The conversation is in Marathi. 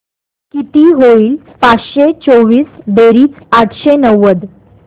किती होईल पाचशे चोवीस बेरीज आठशे नव्वद